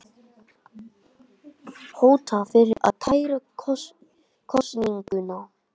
Hótað fyrir að kæra kosninguna